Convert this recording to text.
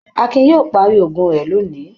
Akin yóò parí òògùn rẹ̀ lóni.